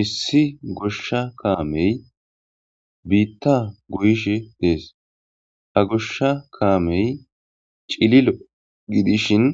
Issi goshsha kaamey biitta guyishe dees ha goshsha kaamey cililo gidishin